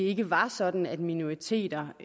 ikke var sådan at minoriteter og